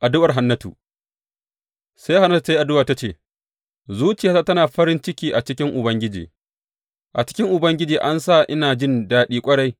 Addu’ar Hannatu Sai Hannatu ta yi addu’a ta ce, Zuciyata tana farin ciki a cikin Ubangiji; a cikin Ubangiji an sa ina jin daɗi ƙwarai.